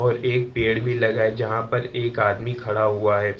और एक पेड़ भी लगा है जहां पर एक आदमी खड़ा हुआ है।